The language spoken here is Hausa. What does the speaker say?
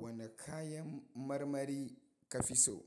Wane kayan marmari ka fi so?